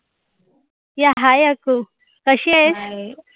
hi Akku कशी आहेस?